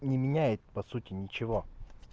не меняет по сути ничего